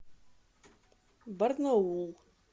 барнаул